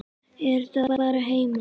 Vera þá bara heima?